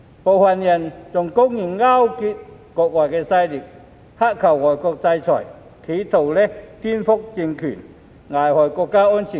部分人更公然勾結外國勢力，乞求外國制裁，企圖顛覆政權、危害國家安全。